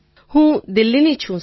તરન્નુમ ખાન હું દિલ્લીની છું સર